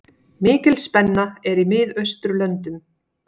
Mikil spenna er í Miðausturlöndum.